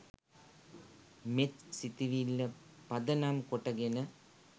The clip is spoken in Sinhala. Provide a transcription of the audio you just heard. මෙත් සිතිවිල්ල පදනම් කොටගෙන